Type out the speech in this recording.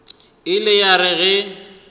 e ile ya re ge